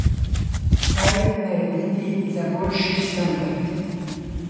Kaj narediti za boljši standard?